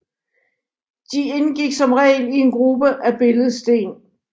De indgik som regel i en gruppe af billedsten